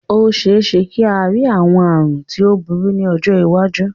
Ó ṣeéṣe kí a rí àwọn àrùn tí ó burú ní ọjọ́ iwájú